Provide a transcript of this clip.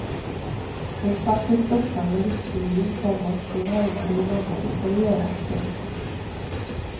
Hon satte upp dockan med viktig min, komma hon härmade hur mamma brukade göra. punkt